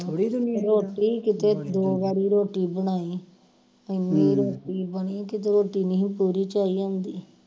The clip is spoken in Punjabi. ਰੋਟੀ ਕਿਤੇ ਦੋ ਵਾਰੀ ਰੋਟੀ ਬਣਾਈ ਇੰਨੀ ਰੋਟੀ ਬਣੀ ਕਿਤੇ ਰੋਟੀ ਨਹੀਂ ਪੂਰੀ ਝਾਈ ਆਂਦੀ